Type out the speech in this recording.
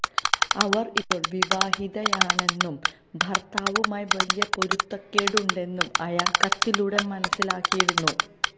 അവർ ഇപ്പോൾ വിവാഹിതയാണെന്നും ഭർത്താവുമായി വലിയ പൊരുത്തക്കേടുണ്ടെന്നും അയാൾ കത്തിലൂടെ മനസ്സിലാക്കിയിരുന്നു